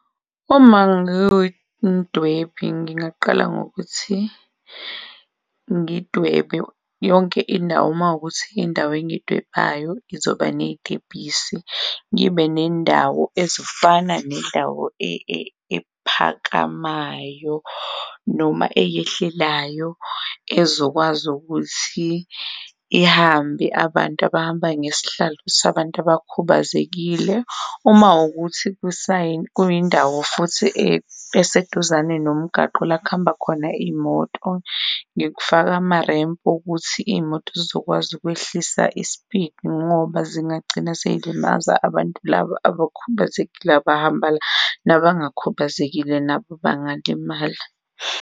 Uma ngiwumdwebi ngingaqala ngokuthi ngidwebe yonke indawo makuwukuthi indawo engiyidwebayo izoba ney'tebhisi ngibe nendawo ezifana nendawo ephakamayo noma eyehlelayo ezokwazi ukuthi ihambe abantu abahamba ngesihlalo sabantu abakhubazekile uma wukuthi kuyindawo futhi eseduzane nomgwaqo lak'hamba khona iy'moto, ngifake ama-ramp wokuthi iy'moto zizokwazi ukwehlisa i-speed ngoba zingagcina sey'limaza abantu labo abakhubazekile abahamba nabangakhubazekile nabo bangalimala.